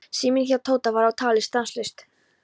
Síminn hjá Tóta var á tali stanslaust.